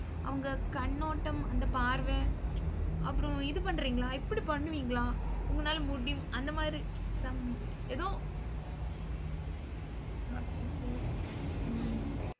அவங்க கண்ணோட்டம் அந்த பார்வை அப்புறம் இது பண்றீங்களா இப்படி பண்ணுவீங்களா உங்களால முடியு~ அந்த மாதிரி some ஏதோ அப்படினு யோசிக்கிறேன் நான் உம்